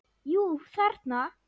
Jú, þarna!